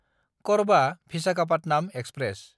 कर्बा–भिसाखापाटनाम express